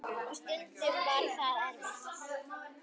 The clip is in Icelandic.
Og stundum var það erfitt.